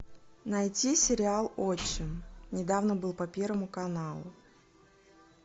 найти сериал отчим недавно был по первому каналу